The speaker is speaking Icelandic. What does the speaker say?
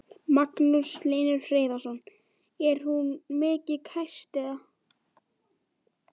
Magnús Hlynur Hreiðarsson: Er hún mikið kæst eða?